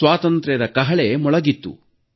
ಸ್ವಾತಂತ್ರ್ಯದ ಕಹಳೆ ಮೊಳಗಿತ್ತು